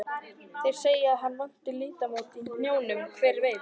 Þeir segja að hann vanti liðamót í hnjánum, hver veit?